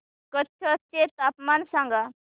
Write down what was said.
कच्छ चे तापमान सांगा